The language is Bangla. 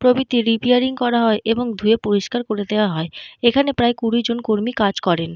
প্রভৃতি রিপেয়ারিং করা হয় এবং ধুয়ে পরিষ্কার করে দেওয়া হয়। এখানে প্রায় কুড়ি জন কর্মী কাজ করেন।